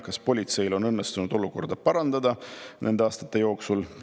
Kas politseil on õnnestunud olukorda parandada nende aastate jooksul?